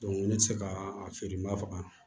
ne tɛ se ka a feere n ba faga